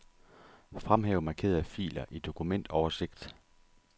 Fremhæv markerede filer i dokumentoversigt.